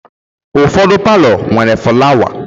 Ụfọdụ palọ nwere flawa.